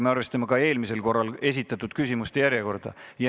Me arvestame eelmiselgi korral esitatud küsimuste järjekorda.